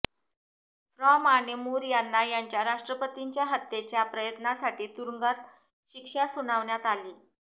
from आणि Moore यांना त्यांच्या राष्ट्रपतींच्या हत्येच्या प्रयत्नासाठी तुरुंगात शिक्षा सुनावण्यात आली